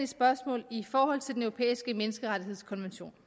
spørgsmål i forhold til den europæiske menneskerettighedskonvention